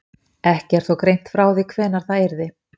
Ekki er þó greint frá því hvenær það yrði.